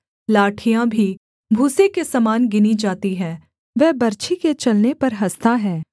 लाठियाँ भी भूसे के समान गिनी जाती हैं वह बर्छी के चलने पर हँसता है